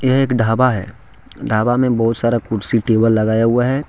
एक ढाबा है। ढाबा में बहुत सारा कुर्सी टेबल लगाया हुआ है।